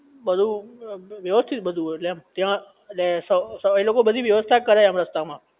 બધુ વ્યવસ્થિત બધુ હોયએટલે એમ ત્યાં એટલે એ લોકો બધી વ્યવસ્થા કરાઇ આપે રસ્તા માં